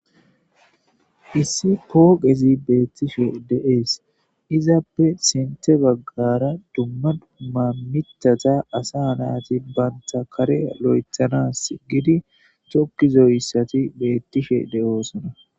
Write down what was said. issi pooqezi beettishe de7ees izappe sinte baggara dumma duumma mitata asa nayati baynta kare lo7ethanas gidi tokkizoyssati beettishe de7oosona